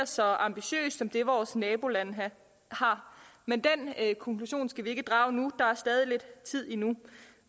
så ambitiøst som det vores nabolande har men den konklusion skal vi ikke drage nu der er stadig lidt tid endnu